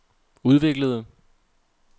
udviklede